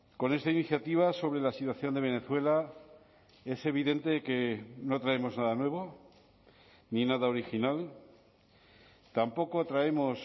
con esta iniciativa sobre la situación de venezuela es evidente que no traemos nada nuevo ni nada original tampoco traemos